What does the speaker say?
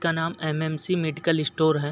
का नाम MMC medical store है।